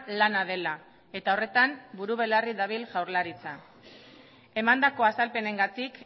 lana dela eta horretan buru belarri dabil jaurlaritza emandako azalpenengatik